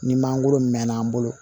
Ni mangoro mɛnna an bolo